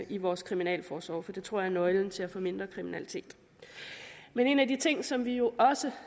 i vores kriminalforsorg for det tror jeg er nøglen til at få mindre kriminalitet men en af de ting som vi jo også